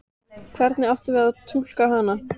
Hvernig áttum við að túlka hana?